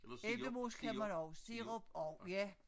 Æblemos kan man også sirup også ja